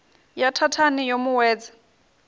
ya thathani yo mu wedza